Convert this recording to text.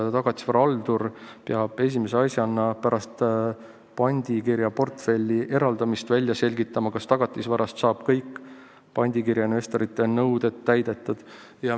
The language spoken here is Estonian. Tagatisvara haldur peab esimese asjana pärast pandikirja portfelli eraldamist välja selgitama, kas tagatisvarast saab kõik pandikirja investorite nõuded täidetud.